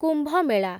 କୁମ୍ଭ ମେଳା